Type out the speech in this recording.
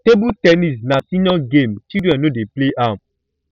table ten nis na senior game children no dey play am